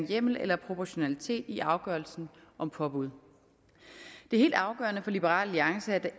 hjemmel eller proportionalitet i afgørelsen om påbud det er helt afgørende for liberal alliance